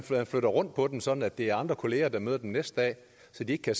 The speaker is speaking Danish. flytter rundt på dem sådan at det er andre kollegaer der møder den næste dag så det ikke kan